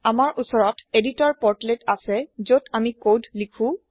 আমাৰ ওচৰত editor portlets আছেযতআমি কোদ লিখো